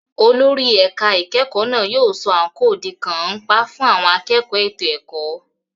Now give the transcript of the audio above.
Olórí ẹ̀ka ìkẹ́kọ̀ọ́ náà yóò sọ àǹkóò di kàńpá fún àwọn akẹ́kọ̀ọ́ ètò ẹ̀kọ́.